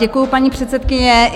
Děkuji, paní předsedkyně.